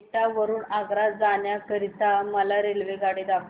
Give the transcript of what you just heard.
एटा वरून आग्रा जाण्या करीता मला रेल्वेगाडी दाखवा